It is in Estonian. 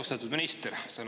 Austatud minister!